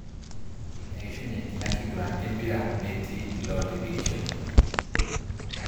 Eishunye ina kiguran e mpira metii ilooyimirishote.